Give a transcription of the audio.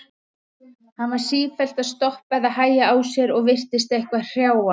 Hann var sífellt að stoppa eða hægja á sér og virtist eitthvað hrjá hann.